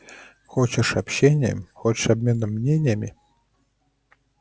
хочешь общением хочешь обменом мнениями